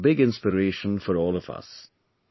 This is a big inspiration for all of us